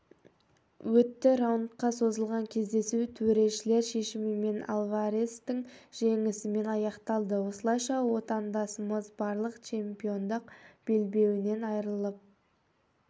өтті раундқа созылған кездесу төрешілер шешімімен альварестің жеңісімен аяқталды осылайша отандасымыз барлық чемпиондық белбеуінен айырылып